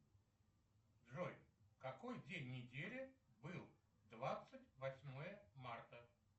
джой какой день недели был двадцать восьмое марта